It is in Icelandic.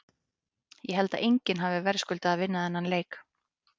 Ég held að enginn hafi verðskuldað að vinna þennan leik.